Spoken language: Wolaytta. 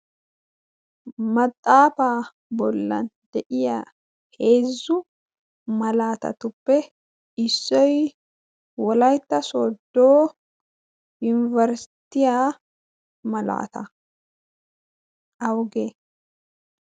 maxaafaa bollan de7iya heezzu malaatatuppe issoi wolaitta sodoo yunibarisitiyaa malaata auge?